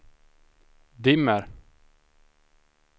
dimmer